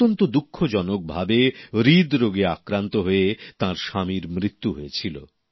অত্যন্ত দুঃখজনক ভাবে হৃদরোগে আক্রান্ত হয়ে তাঁর স্বামীর মৃত্যু হয়েছিল